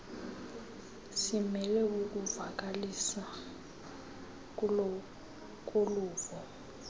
simele ukuvakaliswa koluvo